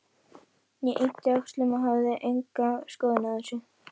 Ég yppti öxlum, ég hafði enga skoðun á þessu.